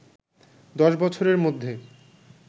দশ বছরের মধ্যে